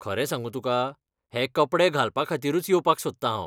खरें सांगूं तुका, हे कपडे घालपाखातीरूच येवपाक सोदतां हांव.